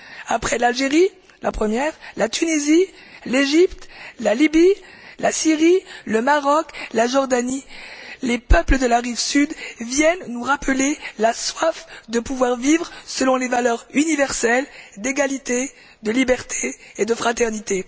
Après l'Algérie la première la Tunisie, l'Égypte, la Libye, la Syrie, le Maroc, la Jordanie, les peuples de la rive sud viennent nous rappeler la soif de pouvoir vivre selon les valeurs universelles d'égalité, de liberté et de fraternité.